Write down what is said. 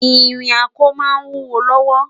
ìrìn ako má n wúwo lówó